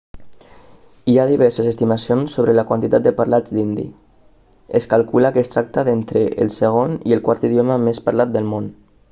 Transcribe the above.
hi ha diverses estimacions sobre la quantitat de parlants d'hindi es calcula que es tracta d'entre el segon i el quart idioma més parlat del món